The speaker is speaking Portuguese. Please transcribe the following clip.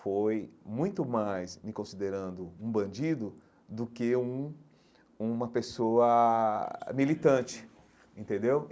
foi muito mais me considerando um bandido do que um uma pessoa militante, entendeu?